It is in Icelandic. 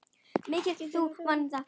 Meðtak þú minn anda.